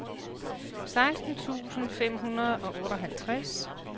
seksten tusind fem hundrede og otteoghalvtreds